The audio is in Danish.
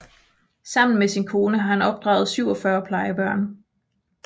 Sammen med sin kone har han opdraget 47 plejebørn